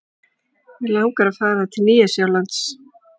Mig langar að fara til Nýja-Sjálands.